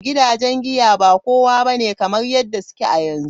Gidajen giya ba kowa ba ne kamar yadda suke a yanzu.